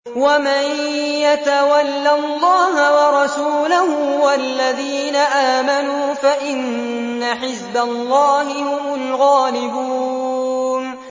وَمَن يَتَوَلَّ اللَّهَ وَرَسُولَهُ وَالَّذِينَ آمَنُوا فَإِنَّ حِزْبَ اللَّهِ هُمُ الْغَالِبُونَ